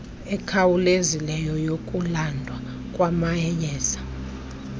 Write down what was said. ekhawulezileyo yokulandwa kwamayeza